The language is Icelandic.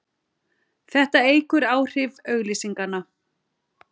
Þetta eykur áhrif auglýsinganna.